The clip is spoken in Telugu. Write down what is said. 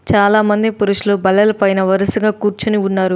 చాలామంది పురుషులు బల్లలపైన వరుసగా కూర్చొని ఉన్నారు.